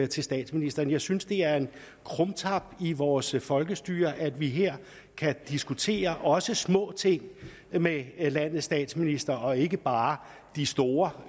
til statsministeren jeg synes det er en krumtap i vores folkestyre at vi her kan diskutere også små ting med landets statsminister og ikke bare de store